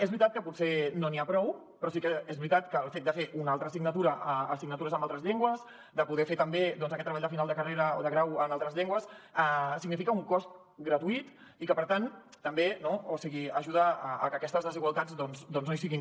és veritat que potser no n’hi ha prou però sí que és veritat que el fet de fer una altra assignatura assignatures en altres llengües de poder fer també doncs aquest treball de final de carrera o de grau en altres llengües significa un cost gratuït i que per tant també no o sigui ajuda a que aquestes desigualtats doncs no hi siguin